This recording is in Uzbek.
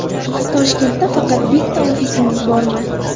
Toshkentda faqat bitta ofisingiz bormi?